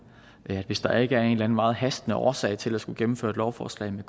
hvis der ikke er en meget hastende årsag til at skulle gennemføre et lovforslag med